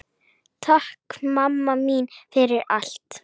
Takk mamma mín fyrir allt.